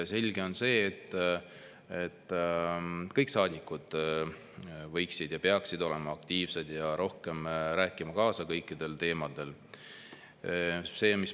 Selge on see, et kõik saadikud võiksid olla ja peaksid olema aktiivsed ja rohkem rääkima kaasa kõikidel teemadel.